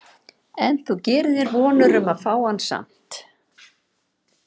En þú gerir þér vonir um að fá hann samt?